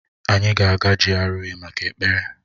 Anyị ga-aga GRA maka ekpere